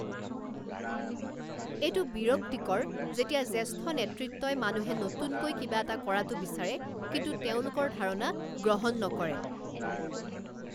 এইটো বিৰক্তিকৰ যেতিয়া জ্যেষ্ঠ নেতৃত্বই মানুহে নতুনকৈ কিবা এটা কৰাটো বিচাৰে কিন্তু তেওঁলোকৰ ধাৰণা গ্ৰহণ নকৰে।